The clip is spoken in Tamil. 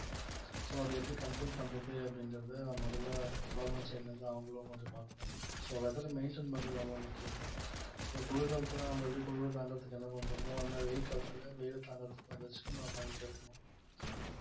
so அதை எப்படி control பண்றது எப்படிங்கிறது முதல்ல government side ல இருந்து அவங்களும் கொஞ்சம் பார்க்கணும் so weather அ maintain பண்றது ரொம்ப முக்கியம் so குளிர்காலத்துல நம்ம எப்படி குளுரு தாண்டுறதுக்கு என்ன பண்றோமோ அந்த மாதிரி வெயில் காலத்துல வெயில் தாங்கறதுக்கு ஏதாச்சும் நம்ம பண்ணிக்கிட்டே இருக்கணும்